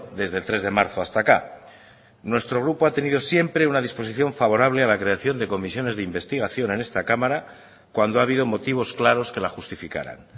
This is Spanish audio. desde el tres de marzo hasta acá nuestro grupo ha tenido siempre una disposición favorable a la creación de comisiones de investigación en esta cámara cuando ha habido motivos claros que la justificaran